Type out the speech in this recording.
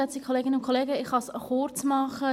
Ich kann mich kurzfassen.